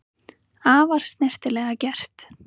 Afar snyrtilega gert